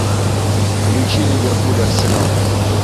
включи ливерпуль арсенал